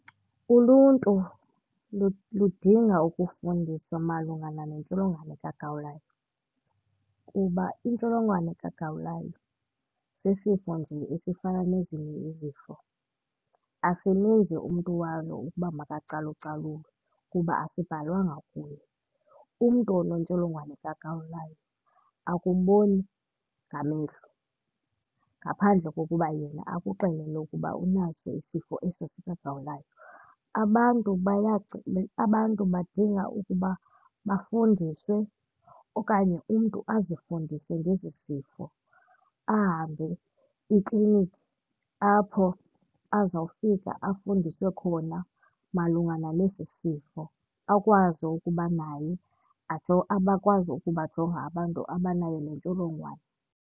Uluntu ludinga ukufundiswa malunga nale ntsholongwane kagawulayo kuba intsholongwane kagawulayo sisifo nje esifana nezinye izifo, asimenzi umntu walo ukuba makacalucalulwe kuba asibhalwanga kuye. Umntu onentsholongwane kagawulayo akuboni ngamehlo ngaphandle kokuba yena akuxelele ukuba unaso isifo eso sikagawulayo. Abantu abantu badinga ukuba bafundiswe okanye umntu azifundise ngesi sifo, ahambe ikliniki apho azawufika afundiswe khona malungana nesi sifo, akwazi ukuba naye akwazi ukubajonga abantu abanayo le ntsholongwane.